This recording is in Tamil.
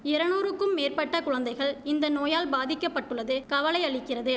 இரநூருக்கும் மேற்பட்ட குழந்தைகள் இந்த நோயால் பாதிக்க பட்டுள்ளது கவலை அளிக்கிறது